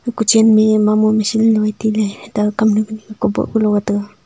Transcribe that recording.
ku chenme mamu machine le vai taile eta kamnu kunu kuboh kulo ga taga.